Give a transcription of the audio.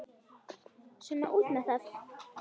Svona út með það.